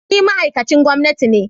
Ni ma'aikacin gwamnati ne